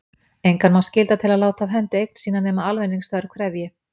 engan má skylda til að láta af hendi eign sína nema almenningsþörf krefji